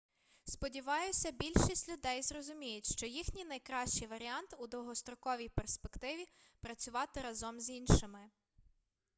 сподіваюся більшість людей зрозуміють що їхній найкращий варіант у довгостроковій перспективі працювати разом з іншими